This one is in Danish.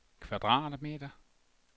kvadratmeter